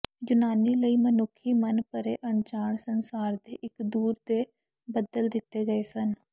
ਯੂਨਾਨੀ ਲਈ ਮਨੁੱਖੀ ਮਨ ਪਰੇ ਅਣਜਾਣ ਸੰਸਾਰ ਦੇ ਇੱਕ ਦੂਰ ਦੇ ਬੱਦਲ ਦਿੱਤੇ ਗਏ ਸਨ